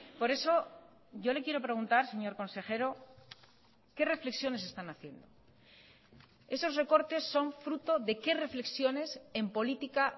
por eso yo le quiero preguntar señor consejero qué reflexiones están haciendo esos recortes son fruto de qué reflexiones en política